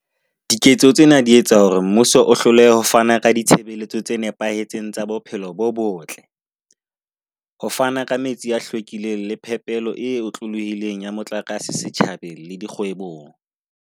Diketso tsena di etsa hore mmuso o hlolehe ho fana ka ditshebeletso tse nepahetseng tsa bophelo bo botle, ho fana ka metsi a hlwekileng le phepelo e otlolohileng ya motlakase setjhabeng le dikgwebong.